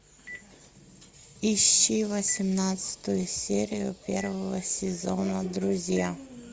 ищи восемнадцатую серию первого сезона друзья